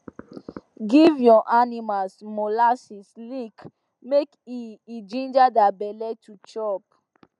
give your animals molasses lick make e e ginger their belle to chop